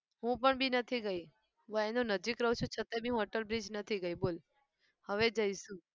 હું પણ બી નથી ગઈ. હું એની નજીક રહું છું છતાં બી હું અટલ bridge નથી ગઈ બોલ હવે જઈશું.